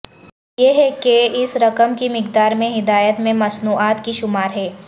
یہ ہے کہ اس رقم کی مقدار میں ہدایات میں مصنوعات کی شمار ہے